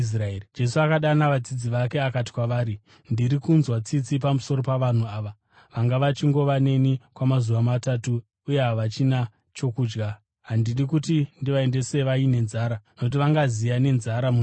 Jesu akadana vadzidzi vake akati kwavari, “Ndiri kunzwa tsitsi pamusoro pavanhu ava; vanga vachingova neni kwamazuva matatu uye havachina chokudya. Handidi kuti ndivaendese vaine nzara nokuti vangaziya nenzara munzira.”